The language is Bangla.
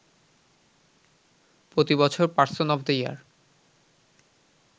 প্রতিবছর পারসন অব দ্য ইয়ার